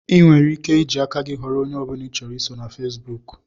Ị nwere ike iji aka gị ghọrọ onye ọbụla ị chọrọ iso na Fesbụụk